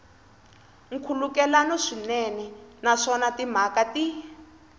nkhulukelano swinene naswona timhaka ti